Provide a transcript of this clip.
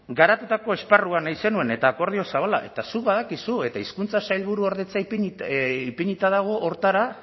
garatutako esparrua nahi zenuen eta akordio zabala eta zuk badakizu eta hizkuntza sailburuordetza ipinita dago horretara